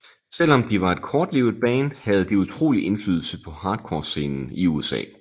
Selvom de var et kortlivet band havde de utrolig indflydelse på hardcorescenen i USA